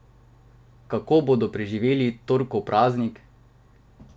Kako bodo preživeli torkov praznik?